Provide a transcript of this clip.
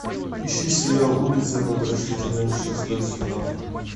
ищи сериал улица потрошителя шестой сезон